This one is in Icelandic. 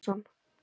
Páll Sigurðsson.